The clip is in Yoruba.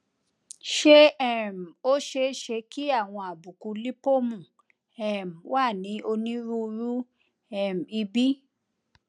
ṣé um ó ṣeé ṣe kí àwọn àbùkù lípómù um wà ní onírúurú um ibi